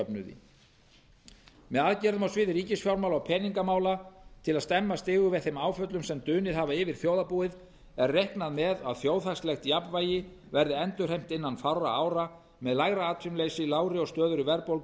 þáttatekjujöfnuði með aðgerðum á sviði ríkisfjármála og peningamála til að stemma stigu við þeim áföllum sem dunið hafa yfir þjóðarbúið er reiknað með að þjóðhagslegt jafnvægi verði endurheimt innan fárra ára með lægra atvinnuleysi lágri og stöðugri verðbólgu